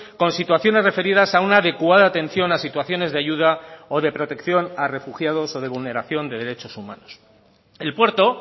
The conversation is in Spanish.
con situaciones referidas a una adecuada atención a situaciones de ayuda o de protección a refugiados o de vulneración de derechos humanos el puerto